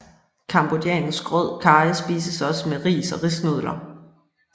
Cambodjansk rød karry spises også med ris og risnudler